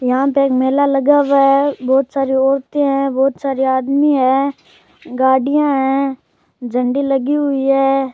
यहाँ पे एक मेला लगा हुआ है बहोत सारी औरते है बहुत सारे आदमी है गाड़ियां है झंडी लगी हुई है।